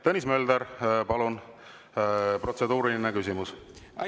Tõnis Mölder, palun, protseduuriline küsimus!